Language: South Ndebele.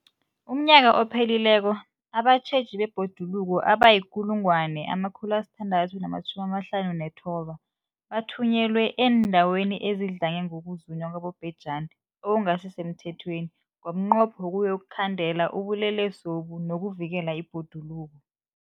UmNnyaka ophelileko abatjheji bebhoduluko abayi-1 659 bathunyelwa eendaweni ezidlange ngokuzunywa kwabobhejani okungasi semthethweni ngomnqopho wokuyokukhandela ubulelesobu nokuvikela ibhoduluko.